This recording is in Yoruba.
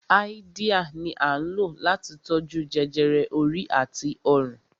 Háídíà ni à ń lò láti tó jú jẹjẹrẹ orí àti ọrùn